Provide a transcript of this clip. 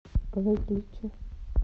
выключи